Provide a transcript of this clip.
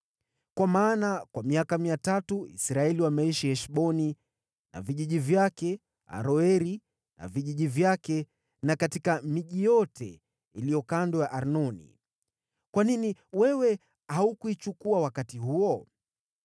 Kwa maana kwa miaka 300 Israeli wameishi Heshboni na vijiji vyake, Aroeri na vijiji vyake, na katika miji yote iliyo kando ya Arnoni. Kwa nini wewe haukuyachukua wakati huo?